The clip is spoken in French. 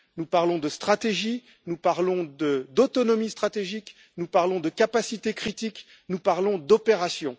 Nous parlons de stratégie, nous parlons d'autonomie stratégique, nous parlons de capacité critique et nous parlons d'opérations.